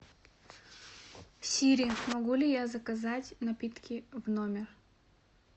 сири могу ли я заказать напитки в номер